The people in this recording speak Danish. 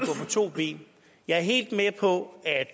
to ben jeg er helt med på